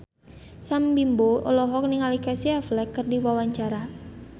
Sam Bimbo olohok ningali Casey Affleck keur diwawancara